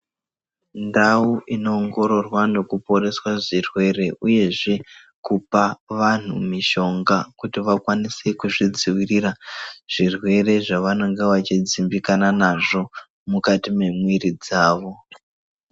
Ndau inoongororwa nekuporeswa zvirwere, uyezve kupa vantu mishonga kuti vakwanise kuzvidzivirira zvirwere zvavanonga vachidzimbikana nazvo mukati memwiri dzavo.